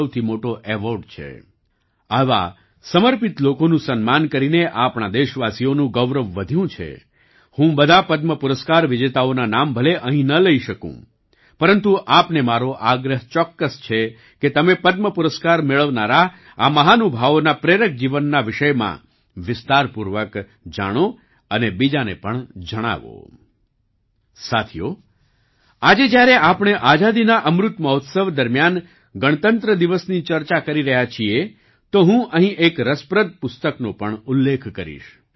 સાથીઓ આજે જ્યારે આપણે આઝાદીના અમૃત મહોત્સવ દરમિયાન ગણતંત્ર દિવસની ચર્ચા કરી રહ્યા છીએ તો હું અહીં એક રસપ્રદ પુસ્તકનો પણ ઉલ્લેખ કરીશ